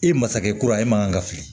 I masakɛ kura ye e man kan ka fili